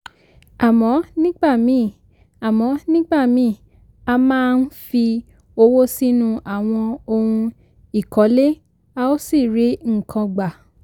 àmọ́ nígbà míì àmọ́ nígbà míì a máa ń fi owó sínú àwọn ohun ìkọ́lé a ò sì rí nǹkan gbà.